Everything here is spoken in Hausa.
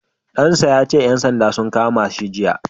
Ɗan sa ya ce ƴan sandan sun kama shi jiya.